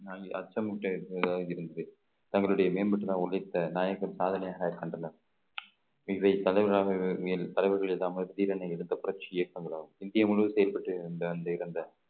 அச்சமுட்டுதாகி இருந்தது தங்களுடைய மேம்பட்டு நான் உழைத்த நாயகன் சாதனையாக கண்டனர் மேல் தலைவர்கள் இல்லாமல் தீரனை எடுத்த புரட்சி இயக்கம் எல்லாம் இந்தியா முழுவதும் செயல்பட்டு இருந்த அந்த இறந்த